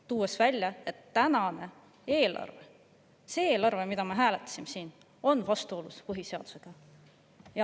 Nad on välja toonud, et tänane eelarve – see eelarve, mida me siin hääletasime – on vastuolus põhiseadusega.